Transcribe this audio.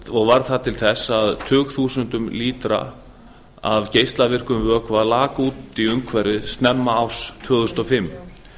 og varð það til þess að tugþúsundir lítra af geislavirkum vökva lak út í umhverfið snemma árs tvö þúsund og fimm